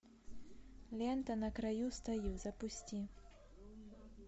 лента на краю стою запусти